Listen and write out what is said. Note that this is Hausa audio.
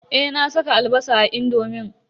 Eh, na saka albasa a indomin.